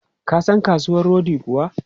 Ka san kasuwan rodi kuwa?